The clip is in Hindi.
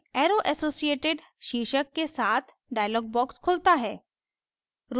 arrow associated शीर्षक के साथ dialog box खुलता है